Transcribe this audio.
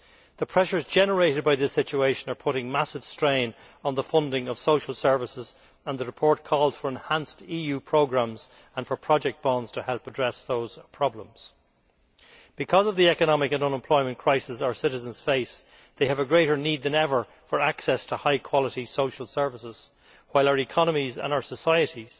The pressures generated by this situation are putting massive strain on the funding of social services, and the report calls for enhanced EU programmes and for project bonds to help address those problems. Because of the economic and unemployment crisis our citizens face, they have a greater need than ever for access to high quality social services, while our economies and our societies